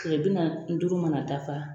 Kile bi nanni duuru mana dafa